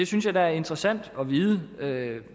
synes da det er interessant at vide